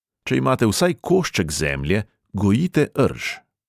Če imate vsaj košček zemlje, gojite rž.